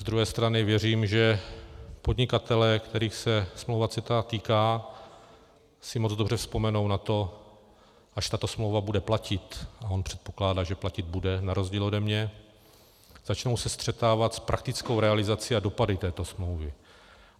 Z druhé strany věřím, že podnikatelé, kterých se smlouva CETA týká, si moc dobře vzpomenou na to, až tato smlouva bude platit, a on předpokládá, že platit bude na rozdíl ode mě, začnou se střetávat s praktickou realizací a dopady této smlouvy.